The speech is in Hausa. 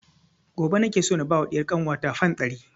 Gobe nake so na ba wa ɗiyar kanwa ta fam ɗari